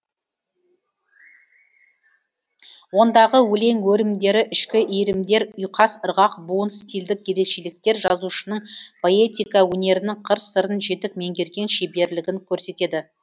ондағы өлең өрімдері ішкі иірімдер ұйқас ырғақ буын стильдік ерекшеліктер жазушының поэтика өнерінің қыр сырын жетік меңгерген шеберлігін көрсетеді